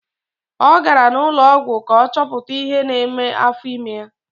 Ọ gara n'ụlọọgwụ ka ọ chọpụta ihe na-eme afọ ime ya.